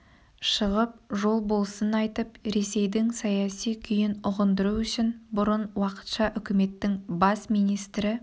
шығып жол болсын айтып ресейдің саяси күйін ұғындыру үшін бұрын уақытша үкіметінің бас министрі